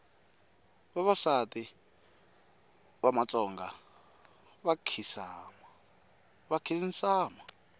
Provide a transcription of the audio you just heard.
vavasati va matsonga va nkhinsama